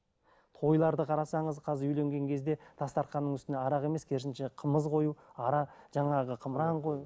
тойларды қарасаңыз қазір үйленген кезде дастарханның үстінде арақ емес керісінше қымыз қою жаңағы қымыран қою